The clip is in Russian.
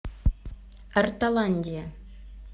ортоландия